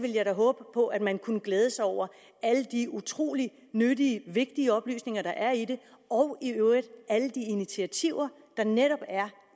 jeg da håbe på at man kunne glæde sig over alle de utrolig nyttige vigtige oplysninger der er i det og i øvrigt alle de initiativer der netop er